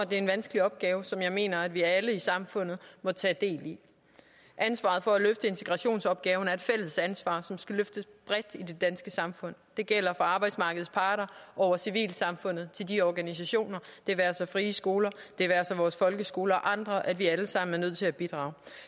det er en vanskelig opgave som jeg mener at vi alle i samfundet må tage del i ansvaret for at løfte integrationsopgaven er et fælles ansvar som skal løftes bredt i det danske samfund det gælder for arbejdsmarkedets parter over civilsamfundet til de organisationer det være sig frie skoler det være sig vores folkeskoler og andre at vi alle sammen er nødt til at bidrage